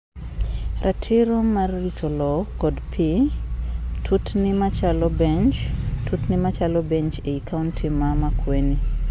Ratiro mar rito lowo kod pii. Tutni machalo bench. Tutni machalo bench eiy county ma Makueni.